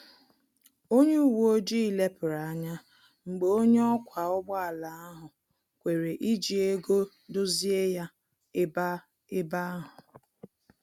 Onye uwe ojii lepuru anya mgbe onye ọkwa ụgbọ ala ahụ kwere iji ego dozie ya ebe ebe ahu